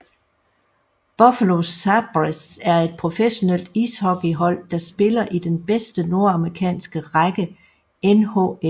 Buffalo Sabres er et professionelt ishockeyhold der spiller i den bedste nordamerikanske række NHL